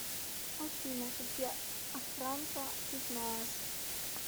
афина какие охранка ты знаешь